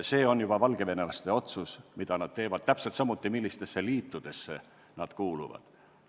See on juba valgevenelaste otsus, mida nad edasi teevad, samuti see, millistesse liitudesse nad kuuluvad.